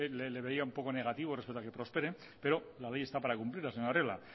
le veía un poco negativo respecto a que prospere pero la ley está para cumplirla señor arriola